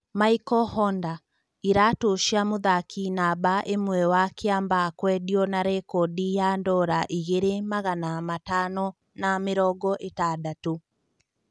Maiko Honda: Iratũ cia mũthaki namba ĩmwe wa Kĩambaa kwendio na rekondi ya ndora ngiri magana matano na mĩrongo-ĩtandatũ.